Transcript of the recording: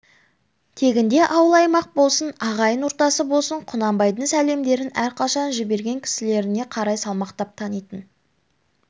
тегінде ауыл-аймақ болсын ағайын ортасы болсын құнанбайдың сәлемдерін әрқашан жіберген кісілеріне қарай салмақтап танитын